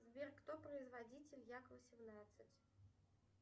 сбер кто производитель як восемнадцать